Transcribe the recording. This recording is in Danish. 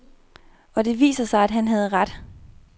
Og det viser sig, at han har ret.